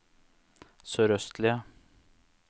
sørøstlige